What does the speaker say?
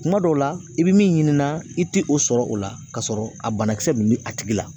Kuma dɔw la i bɛ min ɲininka i tɛ o sɔrɔ o la ka sɔrɔ a banakisɛ min bɛ a tigi la